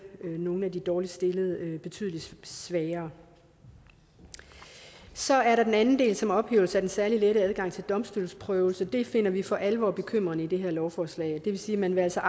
nogle af de dårligst stillede betydelig svagere så er der den anden del som vil ophæve den særlig lette adgang til domstolsprøvelse det finder vi for alvor bekymrende i det her lovforslag det vil sige at man altså